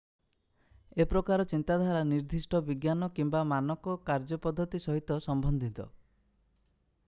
ଏ ପ୍ରକାର ଚିନ୍ତାଧାରା ନିର୍ଦ୍ଦିଷ୍ଟ ବିଜ୍ଞାନ କିମ୍ବା ମାନକ କାର୍ଯ୍ୟପଦ୍ଧତି ସହିତ ସମ୍ବନ୍ଧିତ